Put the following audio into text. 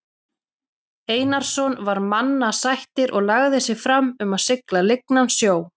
Einarsson var mannasættir og lagði sig fram um að sigla lygnan sjó.